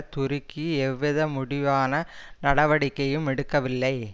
துருக்கி எவ்வித முடிவான நடவடிக்கையும் எடுக்கவில்லை